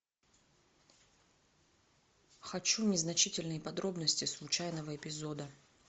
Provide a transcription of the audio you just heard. хочу незначительные подробности случайного эпизода